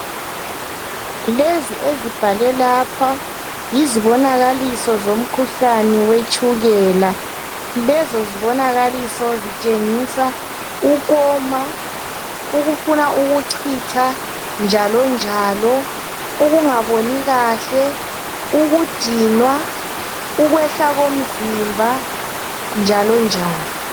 Lezi ezibhalwe lapha yizibonakaliso zomkhuhlane zwetshukela. Lezi zibonakaliso zitshengisa ukoma, ukufuna ukuchitha njalo njalo, ukungaboni kahle, ukudinywa ukwehla komzimba njalo njalo.